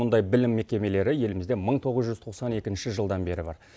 мұндай білім мекемелері елімізде мың тоғыз жүз тоқсан екінші жылдан бері бар